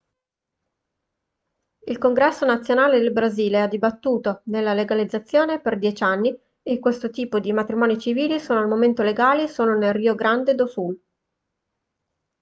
il congresso nazionale del brasile ha dibattuto della legalizzazione per 10 anni e questo tipo di matrimoni civili sono al momento legali solo nel rio grande do sul